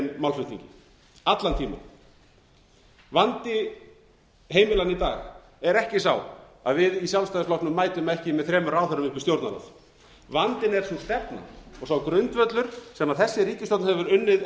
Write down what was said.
málflutningi allan tímann vandi heimilanna í dag er ekki sá að við í sjálfstæðisflokknum mætum ekki með þremur ráðherrum upp í stjórnarráð vandinn er sú stefna og sá grundvöllur sem þessi ríkisstjórn hefur unnið